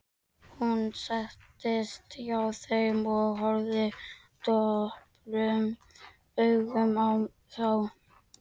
Hún settist hjá þeim og horfði döprum augum á þá.